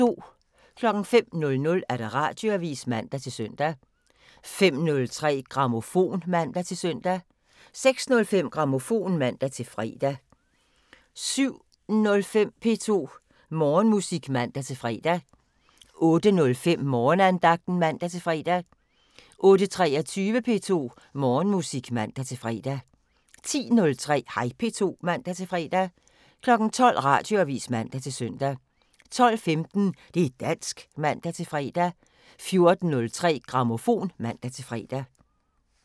05:00: Radioavisen (man-søn) 05:03: Grammofon (man-søn) 06:05: Grammofon (man-fre) 07:05: P2 Morgenmusik (man-fre) 08:05: Morgenandagten (man-fre) 08:23: P2 Morgenmusik (man-fre) 10:03: Hej P2 (man-fre) 12:00: Radioavisen (man-søn) 12:15: Det' dansk (man-fre) 14:03: Grammofon (man-fre)